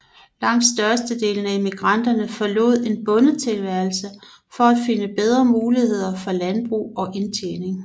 Langt størstedelen af emigranterne forlod en bondetilværelse for at finde bedre muligheder for landbrug og indtjening